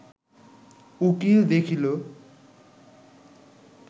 উকীল দেখিল